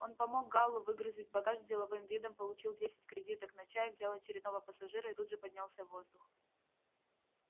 он помог гаалу выгрузить багаж с деловым видом получил десять кредиток на чай взял очередного пассажира и тут же поднялся в воздух